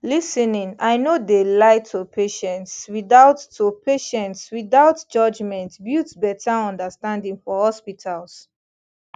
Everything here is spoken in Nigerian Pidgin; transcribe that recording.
lis ten ing i no de lie to patients without to patients without judgment builds betta understanding for hospitals